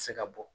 Se ka bɔ